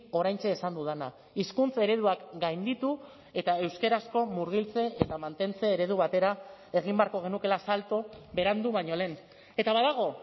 oraintxe esan dudana hizkuntza ereduak gainditu eta euskarazko murgiltze eta mantentze eredu batera egin beharko genukeela salto berandu baino lehen eta badago